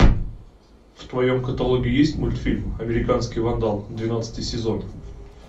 в твоем каталоге есть мультфильм американский вандал двенадцатый сезон